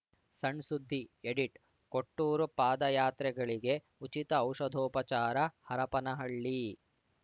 ಸಣ್‌ಸುದ್ದಿಎಡಿಟ್‌ ಕೊಟ್ಟೂರು ಪಾದಯಾತ್ರೆಗಳಿಗೆ ಉಚಿತ ಔಷಧೋಪಚಾರ ಹರಪನಹಳ್ಳಿ